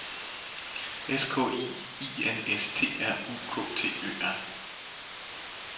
S K I I N S T R U K T Ø R